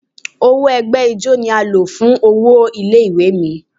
Owó ẹgbẹ́ ijó ni a lọ̀ fún owó ilé ìwé mi.